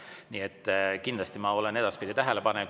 Ma olen kindlasti ka edaspidi tähelepanelik.